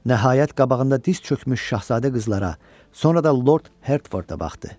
Nəhayət qabağında diz çökülmüş şahzadə qızlara, sonra da Lord Hertforda baxdı.